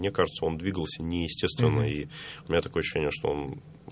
мне кажется он двигался неестественно у меня такое ощущение что он